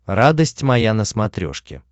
радость моя на смотрешке